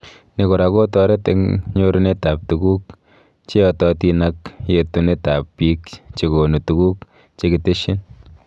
Ni kora kotoret eng nyorunetab tuguk cgeyototin ak yetunetab bik chekonu tuguk chekitesyi